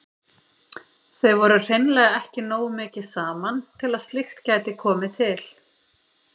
Þau voru hreinlega ekki nógu mikið saman til að slíkt gæti komið til.